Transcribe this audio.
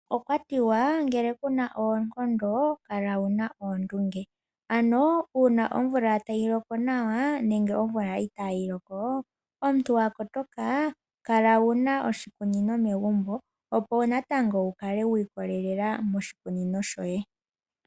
Okwa tiwa ngele Kuna oonkondo kala wuna oondunge, ano uuna omvula tayi loko nawa nenge omvula itaayi loko, omuntu wa kotoka kala wuna oshikunino megumbo opo natango wukale wiikolelela moshikunino shoye.